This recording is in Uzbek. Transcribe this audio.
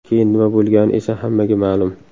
Keyin nima bo‘lgani esa hammaga ma’lum.